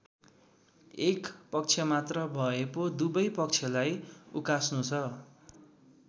एक पक्षमात्र भए पो दुबै पक्षलाई उकास्नु छ।